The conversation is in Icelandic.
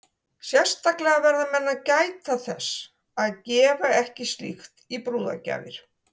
Sérstaklega verða menn að gæta þess að gefa ekki slíkt í brúðargjafir.